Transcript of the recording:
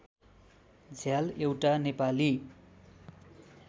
झ्याल एउटा नेपाली